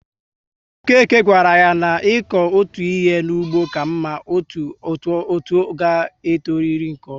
Okeke gawara yá n'iko ọtụtụ ihe n'ugbo ka mma, otú ga e toriri nke ọma